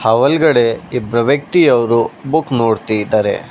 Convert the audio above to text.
ಆ ಒಳ್ಗಡೆ ಇಬ್ರು ವ್ಯಕ್ತಿಯೋರು ಬುಕ್ ನೋಡ್ತಿದಾರೆ.